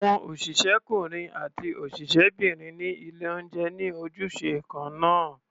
Àwọn òṣìṣẹ́kúnrin àti òṣìṣẹ́bìnrin ní ilé-oúnjẹ ní ojúṣe kan náà.